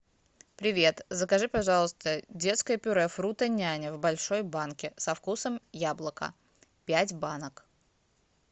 привет закажи пожалуйста детское пюре фрутоняня в большой банке со вкусом яблока пять банок